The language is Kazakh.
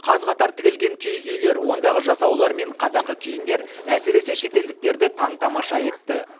қаз қатар тізілген киіз үйлер ондағы жасаулар мен қазақы киімдер әсіресе шетелдіктерді таң тамаша етті